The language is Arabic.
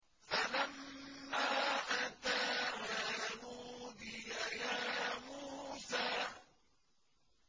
فَلَمَّا أَتَاهَا نُودِيَ يَا مُوسَىٰ